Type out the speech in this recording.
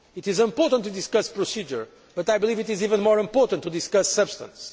It is important to discuss procedure, but I believe it is even more important to discuss substance.